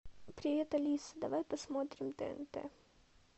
привет алиса давай посмотрим тнт